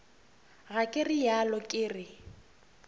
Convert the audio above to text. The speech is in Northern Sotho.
ga ke realo ke re